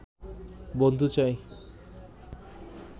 বন্ধু চাই